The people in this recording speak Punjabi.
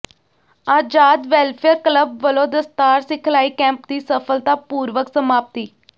ਆਜ਼ਾਦ ਵੈਲਫੇਅਰ ਕਲੱਬ ਵੱਲੋਂ ਦਸਤਾਰ ਸਿਖਲਾਈ ਕੈਂਪ ਦੀ ਸਫ਼ਲਤਾਪੂਰਵਕ ਸਮਾਪਤੀ